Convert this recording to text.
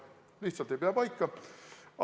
Lihtsalt ei pea paika!